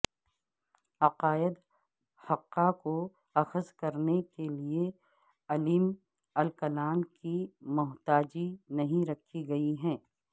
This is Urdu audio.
عقائد حقہ کو اخذ کرنے کیلیے علم الکلام کی محتاجی نہیں رکھی گئی ہے